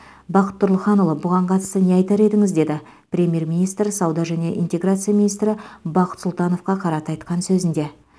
бақыт тұрлыханұлы бұған қатысты не айтар едіңіз деді премьер министр сауда және интеграция министрі бақыт сұлтановқа қарата айтқан сөзінде